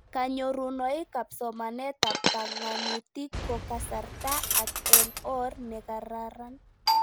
Kanyorunoik ab somanet ak pang'anutik ko kasarta ak eng' or ne kararn